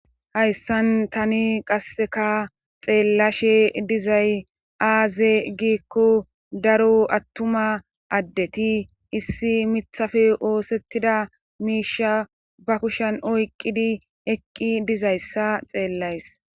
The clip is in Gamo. Hayssan tani qasseka xeellashe dizay aaze giikko daro attuma addeti issi mithafe oosettida miisha ba kushen oyqqidi eqqi dizayssa xeellays